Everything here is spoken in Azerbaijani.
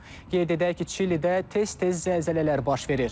Qeyd edək ki, Çilidə tez-tez zəlzələlər baş verir.